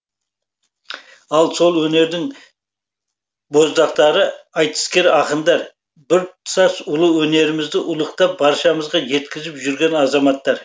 ал сол өнердің боздақтары айтыскер ақындар біртұтас ұлы өнерімізді ұлықтап баршамызға жеткізіп жүрген азаматтар